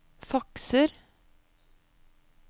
fakser